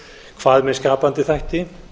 hvað með skapandi þætti